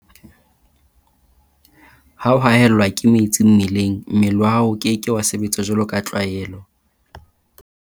Ha o haellwa ke metsi mmeleng, mmele wa hao o ke ke wa sebetsa jwaloka tlwaelo.